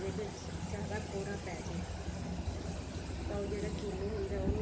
ਜੇਕਰ ਜ਼ਿਆਦਾ ਕੋਹਰਾ ਪੈ ਜਾਏ ਤਾਂ ਉਹ ਜਿਹੜਾ ਕਿਨੂੰ ਹੁੰਦੇ ਆ ਉਹਨੂੰ